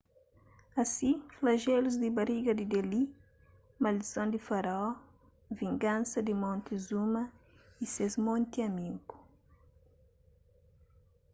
asi flajelus di bariga di deli maldison di faraó vingansa di montezuma y ses monti amigu